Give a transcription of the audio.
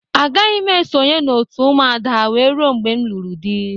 Agaghị m esonye n'òtù Ụmụada wee ruo mgbe m lụrụ di.